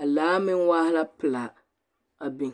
A laa meŋ waa la pelaa.